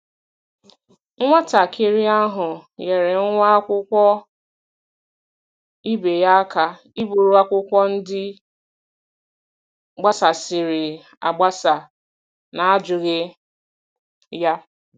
Nwatakịrị ahụ nyeere nwa akwụkwọ ibe ya aka iburu akwụkwọ ndị gbasasịrị agbasa n'ajụghị ya.